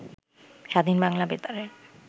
স্বাধীন বাংলা বেতারের